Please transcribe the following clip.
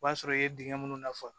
O b'a sɔrɔ i ye dingɛ minnu na